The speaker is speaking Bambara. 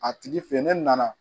A tigi fɛ ye ne nana